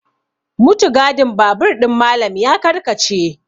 mutugadin babur ɗin Malam ya karkace